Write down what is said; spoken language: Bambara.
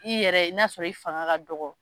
I yɛrɛ i na sɔrɔ i fanga ka dɔgɔ.